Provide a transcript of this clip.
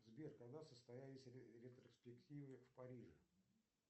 сбер когда состоялись ретроспективы в париже